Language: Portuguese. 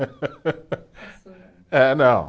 É, não.